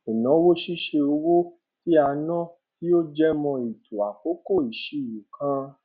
ìnáwó ṣíṣe owó tí a ná tí ó jẹ mọ ètò àkókò ìṣirò kan